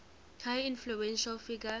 highly influential figure